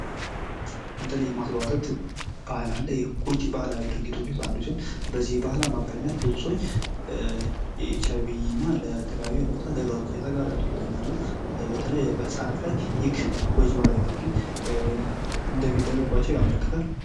እንጥል የማስቧጠጥ ባህል አለ ይህ ጎጂ ባህላዊ ድርጊቶች ውስጥ አንዱ ሲሆን በዚህ ባህል አማካኝነት ብዙ ሰዎች ለኤች አይ ቪ እና ለተለያዩ የሞት አደጋዎች እየተጋለጡ ይገኛሉ ። በተለይ በህፃናት ላይ ይህ ጎጂ ባህላዊ ድርጊት እንደሚደረግባቸው ያመለክታል ።